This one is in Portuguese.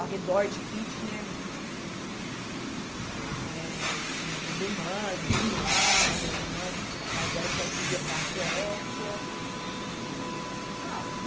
ao redor de Kitchener, eh que tinha duas irmãs e um irmão, e essa irmã mais velha que aí ia para a Suécia. Ah